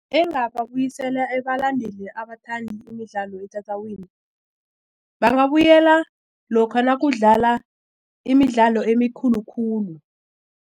Engababuyisela ebalandeli abathandi imidlalo etatawini bangabuyela lokha nakudlala imidlalo emikhulu khulu.